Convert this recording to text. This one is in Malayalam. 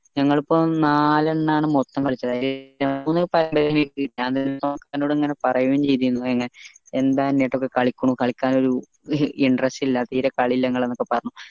ഞങ്ങൾ ഇപ്പൊ നാല് എണ്ണാണ് മൊത്തം കളിച്ചത് എന്നോട് ഇങ്ങനെ പറയും ചെയ്തിന്നു എന്താ കളിക്കാൻ ഒരു interest ഇല്ല തീരെ കളിയില്ല ഇങ്ങളെയൊക്കെ പറഞ്ഞു